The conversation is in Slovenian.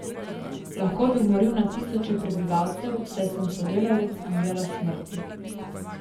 Lahko bi umoril na tisoče prebivalcev, saj sem sodelavec Angela smrti.